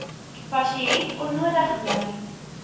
pasiënt onnodig ly